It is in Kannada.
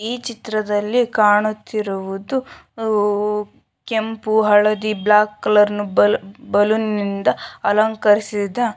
ಈ ಚಿತ್ರದಲ್ಲಿ ಕಾಣುತ್ತಿರುವುದು ಹು ಕೆಂಪು ಹಳದಿ ಬ್ಲಾಕ್ ಕಲರ್ ಬಲೂನ್ ಗಳು ಬಲೂನ್ ನಿಂದ ಅಲಂಕರಿಸಿದ --